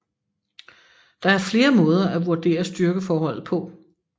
Der er flere måder at vurdere styrkeforholdet på